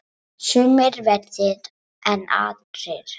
Sumir verri en aðrir.